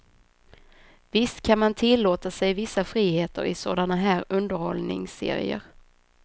Visst kan man tillåta sig vissa friheter i sådana här underhållningsserier.